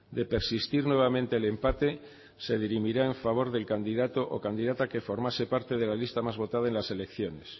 de persistir nuevamente el empate se dirimirá en favor del candidato o candidata que formase parte de la lista más votada en las elecciones